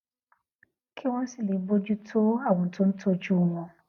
kí wón sì lè bójú tó àwọn tó ń tójú wọn